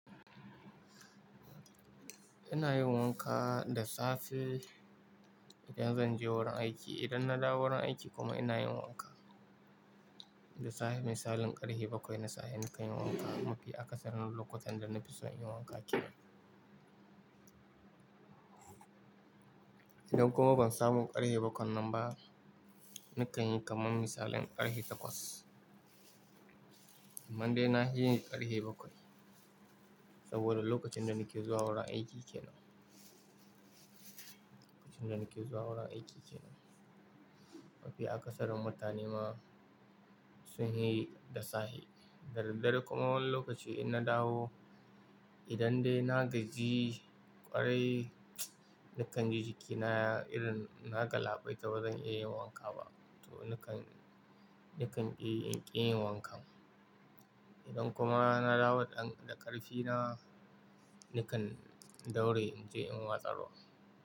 Ina yin wanka da safe idan zan je wurin aiki. Idan na dawo wurin aiki kuma ina yin wanka. Da sahe misalin ƙarhe bakwai na sahe nakan yi wanka. Mafi akasarin lokutan da na fi son inyi wanka ke nan. Idan kuma ban samu ƙarhe bakwai nan ba, nakan yi kamar misalin ƙarhe takwas. Amman de na he yi ƙarhe bakwai saboda lokacin da nake zuwa wurin aiki ke nan. Lokacin da nake zuwa wurin aiki ke nan. Mafi akasarin mutane ma sun he da safe. Da daddare kuma wani lokaci in na dawo, idan dai na gaji ƙwarai, nakan ji jikina irin na galabaita ba zan iya yin wanka ba. To nakan, nakan ƙi inki yin wankan. Idan kuma na dawo da ƙarfi na, nakan daure in je in watsa ruwa.